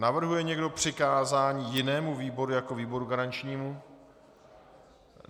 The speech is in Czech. Navrhuje někdo přikázání jinému výboru jako výboru garančnímu?